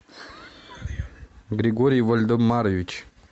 григорий вальдемарович